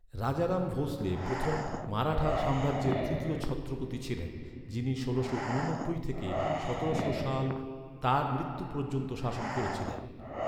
রাজারাম ভোঁসলে প্রথম মারাঠা সাম্রাজ্যের তৃতীয় ছত্রপতি ছিলেন, যিনি ষোলোশো ঊননব্বই থেকে সতেরোশো সালে তাঁর মৃত্যু পর্যন্ত শাসন করেছিলেন।